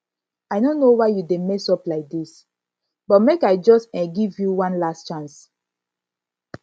i no know why you dey mess up like dis but make i just um give you one last chance